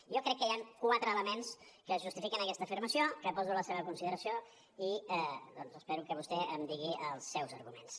jo crec que hi han quatre elements que justifiquen aquesta afirmació que poso a la seva consideració i doncs espero que vostè em digui els seus arguments